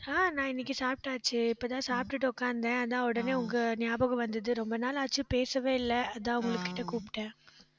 ஆஹ் நான் இன்னைக்கு சாப்பிட்டாச்சு இப்பதான் சாப்பிட்டுட்டு உக்காந்தேன் அதான் உடனே உங்க ஞாபகம் வந்தது. ரொம்ப நாள் ஆச்சு பேசவே இல்லை. அதான் உங்ககிட்ட கூப்பிட்டேன்.